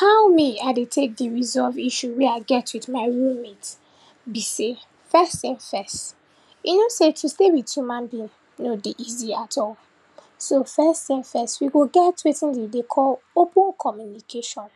How me I dey tek dey resolve issue wey I get wit my roommate be sey, first tin first, you know sey to stay wit human being nor dey easy at all. So, first tin first, we go get wetin we dey call open communication,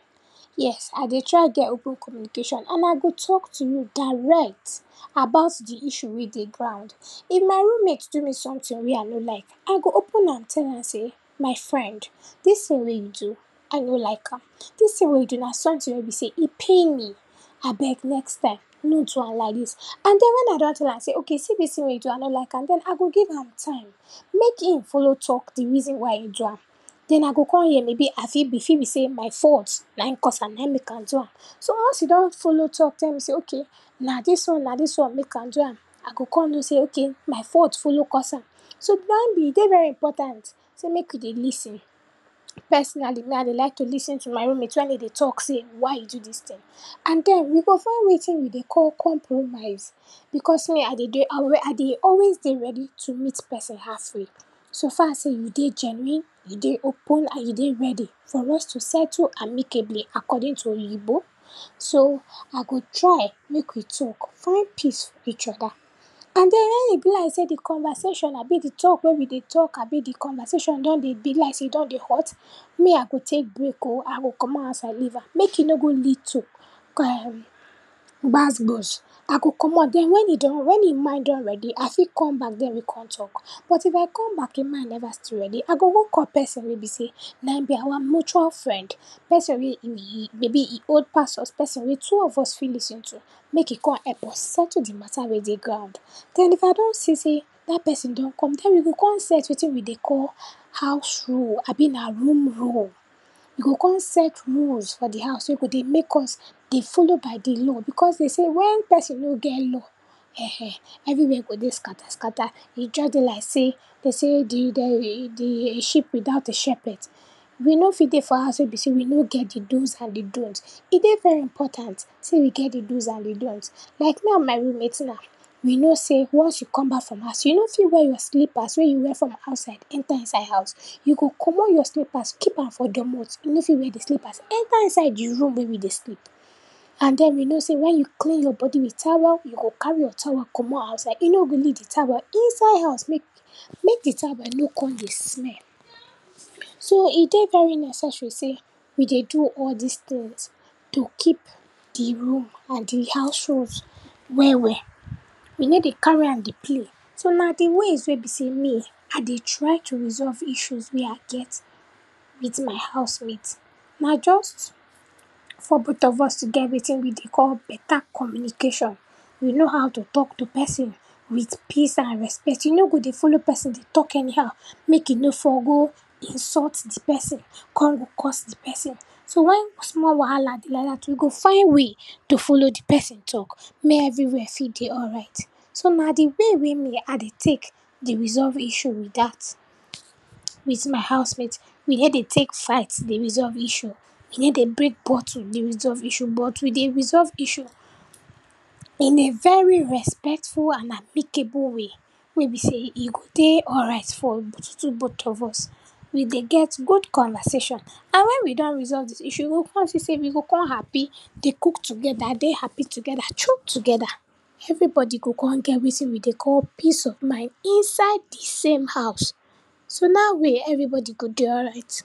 yes, I dey try get open communication and I go talk to you direct about di issue wey dey ground. If my roommate do me soemtin wey I no like, I go open up tell am sey, my friend, dis tin wey you do I no like am, dis tin wey you do na sometin wey be sey e pain me, abeg next time, no do am liadis. And den when I don tell am sey ok see dis tin wey you do I no like am den, I go give am time mek e follow talk di reason why e do am, den I go kon hear maybe I fit e fit be sey my fault naim cause am naim mek am do am. So once you don follow talk tell me sey ok, na dis one na dis one mek am do am, I go kon know sey, ok, my fault follow cause am. So, naim be, e dey very important sey mek we dey lis ten. Personally, me I dey like to lis ten to my roommate wen e dey talk sey why you do dis tin and den we go find wetin we dey call compromise because me I dey dey, I dey always dey ready to meet person half way so far sey you dey genuine, you dey open and you dey ready for us to settle amicably according to oyinbo. So, I go try mek we talk, find peace for each oda, and den, when e be like sey di conversation abi di talk wey we dey talk abi di conversation don dey dey like sey, e don dey hot, me I go tek break o. I go comot outside leave am mek e no go lead to um gbas gbos. I go comot den wen he don wen e mind don ready, I fit come back den we kon talk. But if I come back e mind neva still ready, I go go call person wey be sey naim be our mutual friend. Person wey be e maybe e old pass us, person wey two of us fit lis ten to mek e kon help us settle di mata wey dey ground. Den if I don see sey dat person don come den we go kon set wetin we dey call house rule abi na room rule. We go kon set rules for di house wey go dey make us dey follow by di law, because den sey wen person no get law um, everywhere go dey scatter scatter, e just dey like sey, den sey di um e dey um sheep without a shepherd. We no fit dey for house wey be sey we no get di dos and di don’ts. E dey very important sey we get di dos and di don’ts. Like me and my roommate na, we know sey once we come back from house, you no fit wear your slippers wey you wear from outside enter inside house, you go comot your slippers, keep am for doormont, you no fit wear di slippers enter inside di room wey we dey sleep. And den you know sey wen you clean your body wit towel, you go carry your towel comot outside, you no go leave di towel inside house, mek mek di towel no kon dey smell. So, e dey very necessary sey we dey do all dis tins to keep di room and di house rules well well. We no dey carry am dey play. So, na di ways wey be sey me I dey try to resolve issue mey I get wit my housemate. Na just for both of us to get wetin we dey call beta communication. We know how to talk to person wit peace and respect. You no go dey follow person dey talk anyhow mek e no for go insult di person, kon go curse di person. So, when small wahala dey like dat, we go find way to follow di person talk mey everywhere fit dey alright. So na di way wey me I dey tek dey resolve issue be dat, wit my housemate, we ney dey tek fight dey resolve issue, we ney dey break bottle dey resolve issue, but we dey resolve issue in a very respectful and applicable way, wey be sey e go dey alright for di two both of us. We dey get good conversation, and when we don resolve di issue we go kon see sey we go kon happy, dey cook togeda, dey happy togeda, chop togeda, everybody go kon get wetin we dey call peace of mind inside di same house. So na way everybody go dey alright.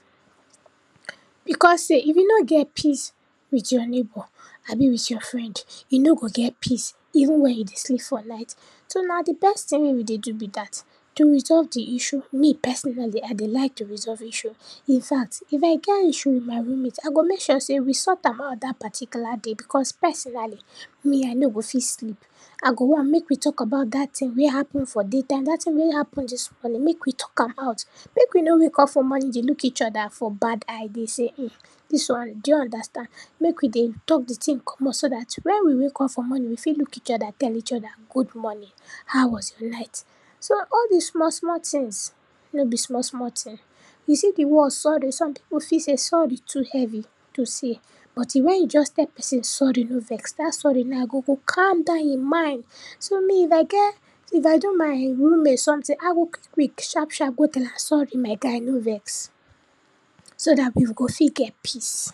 Because sey, if you no get peace wit your neighbor, abi wit your friend, you no go get peace even wen you dey sleep for night. So na di best tin wey we dey do be dat. To resolve di issue, me personally I dey like to resolve issue, infact, if I get issue wit my roommate, I go mek sure sey we sought am out dat particular day because personally, me I no go fit sleep, I go want mek we talk about dat tin wey happen for day time, dat tin wey happen dis morning, mek we talk am out, mek we no wake up for morning dey look each oda for bad eye, dey sey hmm, dis do you understand, mek we dey talk di tin comot, so dat when we wake up for morning we fit look each oda, tell each oda good morning, how was your night. So, all dis small small tins no be small small tin. You see di word sorry, some pipu feel sey sorry too heavy to say, but e when you just tell person sorry, no vex, dat sorry na go go calm down im mind. So, me if I get, if I do my roommate sometin, I go quick quick, sharp sharp go tell am sorry my guy, no vex, so dat we go fit get peace.